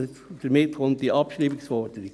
Damit kommt die Abschreibungsforderung.